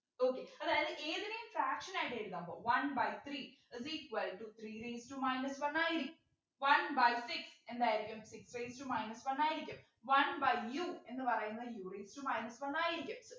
okay അതായത് ഏതിനെയും fraction ആയിട്ട് എഴുതുമ്പോ one by three is equal to three raised to minus one ആയിരിക്കും one by six എന്തായിരിക്കും six raised to minus one ആയിരിക്കും one by u എന്നു പറയുന്നത് u raised to minus one ആയിരിക്കും